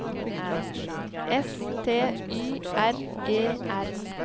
S T Y R E R